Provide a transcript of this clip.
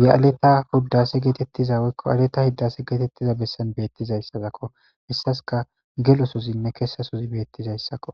ye7aleta huddase geetettiza woykko aaleta hiddase geetettiza bessan beettizayssazakko hessaska gelososinne kessasozi beettizayssakko